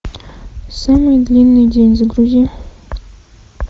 самый длинный день загрузи